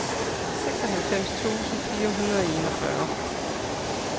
seksoghalvfems tusind fire hundrede og enogfyrre